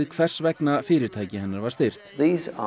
hvers vegna fyrirtæki Arcuri var styrkt á